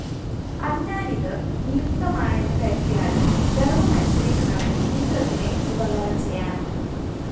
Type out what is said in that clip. അതിനാലിത് നിയുക്തമാണെന്ന് കരുതിയാലും ധര്‍മ്മം അനുസരിക്കുന്നവന്‍ മിത്രത്തിന് ഉപകാരം ചെയ്യണം